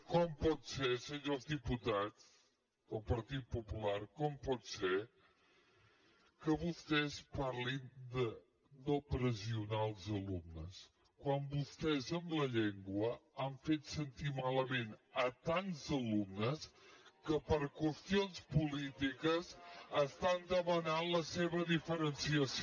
com pot ser senyors diputats del partit popular com pot ser que vostès parlin de no pressionar els alumnes quan vostès amb la llengua han fet sentir malament tants alumnes que per qüestions polítiques estan demanant la seva diferenciació